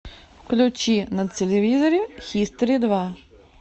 включи на телевизоре хистори два